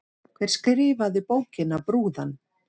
Hver skrifaði bókina Brúðan?